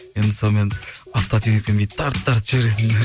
енді сонымен автотюнингпен бүйтіп тартып тарып жібересің